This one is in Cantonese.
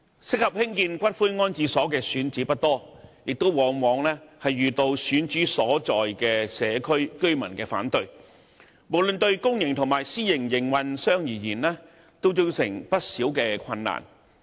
適合興建骨灰安置所的選址不多，亦往往遇到選址所在社區的居民反對，無論對公營及私營營辦商而言，均造成不少困難。